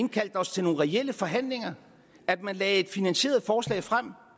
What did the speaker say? indkaldte os til nogle reelle forhandlinger at man lagde et finansieret forslag frem og